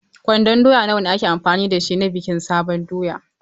Ƙwandon doya bakwai su ke amfani da shi na bikin sabon doya.